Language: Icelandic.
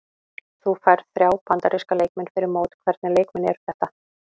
Þú færð þrjá Bandaríska leikmenn fyrir mót, hvernig leikmenn eru þetta?